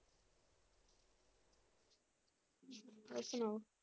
ਹੋਰ ਸੁਣਾਓ?